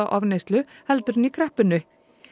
ofneyslu heldur en í kreppunni